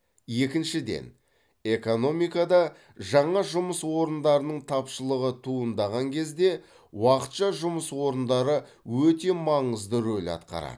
екіншіден экономикада жаңа жұмыс орындарының тапшылығы туындаған кезде уақытша жұмыс орындары өте маңызды рөл атқарады